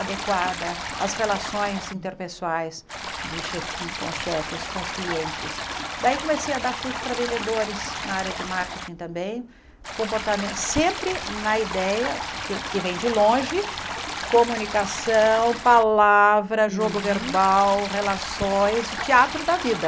adequada às relações interpessoais de chefi com chefes com os clientes daí comecei a dar curso para vendedores na área de marketing também comportamen sempre na ideia que o que vem de longe comunicação palavra jogo verbal relações e teatro da vida